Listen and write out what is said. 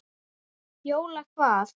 Jóla hvað?